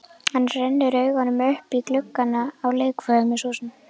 Hann rennir augunum upp í gluggana á leikfimihúsinu.